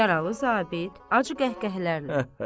Yaralı zabit acı qəhqəhələrlə.